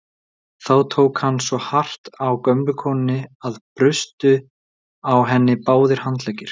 Þá tók hann svo hart á gömlu konunni að brustu á henni báðir handleggir.